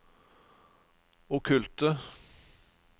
okkulte